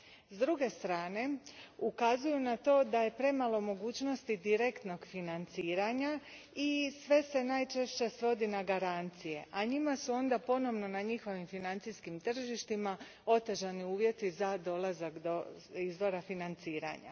S druge strane ukazuju na to da je premalo mogućnosti direktnog financiranja i sve se najčešće svodi na garancije, a njima su onda ponovno na njihovim financijskim tržištima otežani uvjeti za dolazak do izvora financiranja.